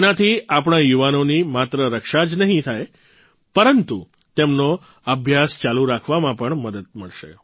તેનાથી આપણા યુવાનોની માત્ર રક્ષા જ નહીં થાય પરંતુ તેમનો અભ્યાસ ચાલુ રાખવામાં પણ મદદ મળશે